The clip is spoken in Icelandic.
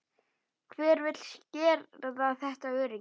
Hver vill skerða þetta öryggi?